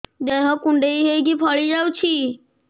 ଦେହ କୁଣ୍ଡେଇ ହେଇକି ଫଳି ଯାଉଛି